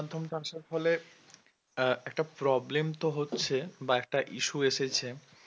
online মাধ্যম টা আসার ফলে আহ একটা problem তো হচ্ছে বা একটা issue এসেছে